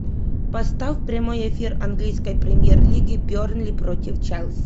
поставь прямой эфир английской премьер лиги бернли против челси